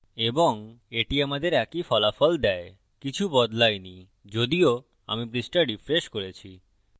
এবং এটি আমাদের একই ফলাফল দেয় কিছু বদলায় i যদিও আমি পৃষ্ঠা refreshed করেছি